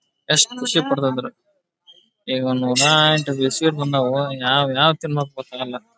ಎಷ್ಟು ಖುಷಿ ಪಡ್ತಿದ್ರು ಸೇಬ್ಈ ಗ ನೂರಾಎಂಟು ಬಿಸ್ಕೆಟ್ ಬಂದ್ವ್ ಯಾವ ಯಾವದ್ ತಿನ್ನಬೇಕು ಗೊತ್ತಾಗಲ್ಲಾ.